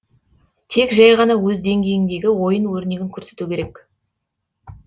тек жәй ғана өз деңгейіндегі ойын өрнегін көрсету керек